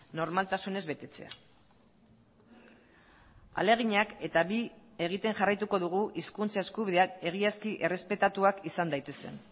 normaltasunez betetzea ahaleginak eta bi egiten jarraituko dugu hizkuntza eskubideak egiazki errespetatuak izan daitezen